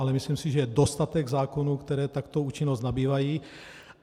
Ale myslím si, že je dostatek zákonů, které takto účinnost nabývají.